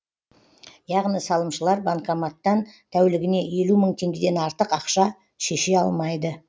яғни салымшылар банкоматтан тәулігіне елу мың теңгеден артық ақша шеше алмайды